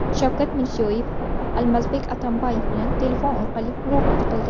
Shavkat Mirziyoyev Almazbek Atamboyev bilan telefon orqali muloqot qildi.